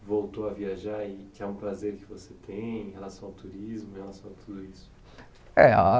voltou a viajar e que é um prazer que você tem em relação ao turismo, em relação a tudo isso? Eh a